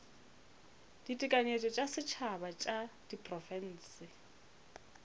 ditekanyetšo tša setšhaba tša diprofense